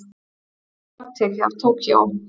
Rafmagn tekið af Tókýó